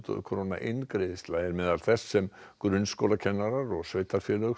króna eingreiðsla er meðal þess sem grunnskólakennarar og sveitarfélög